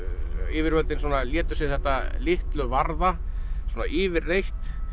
yfirvöldin létu sig þetta litlu varða svona yfirleitt